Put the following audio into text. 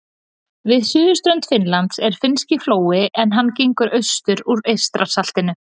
Við suðurströnd Finnlands er Finnski flói en hann gengur austur úr Eystrasaltinu.